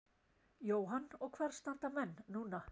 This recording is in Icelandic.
Jóhann: Og hvar standa menn núna?